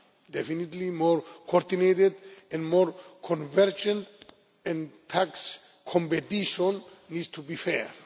definitely more coordinated and more convergent, and tax competition needs to be fair.